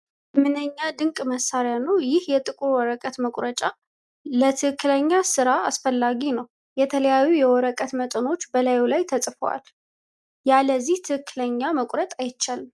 ምንኛ ድንቅ መሣሪያ ነው! ይህ የጥቁር ወረቀት መቁረጫ ለትክክለኛ ሥራ አስፈላጊ ነው! የተለያዩ የወረቀት መጠኖች በላዩ ላይ ተጽፈዋል! ያለዚህ ትክክለኛ መቁረጥ አይቻልም!